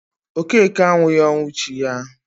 Okeke anwughi ọnwụ chi ya